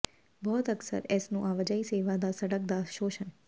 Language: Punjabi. ਬਹੁਤ ਅਕਸਰ ਇਸ ਨੂੰ ਆਵਾਜਾਈ ਸੇਵਾ ਦਾ ਸੜਕ ਦਾ ਸ਼ੋਸ਼ਣ